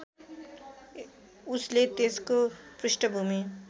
उसले त्यसको पृष्ठभूमि